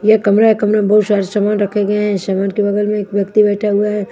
ये कमरा है कमरे में बहुत सारे समान रखे गए हैं समान के बगल में एक व्यक्ति बैठा हुआ है।